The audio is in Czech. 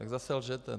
Tak zase lžete.